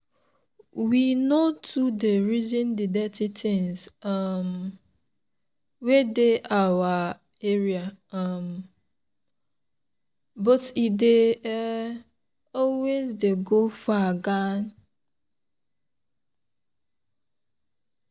we no too dey reason the dirty things um wey dey our area um but e dey um always dey go far gan.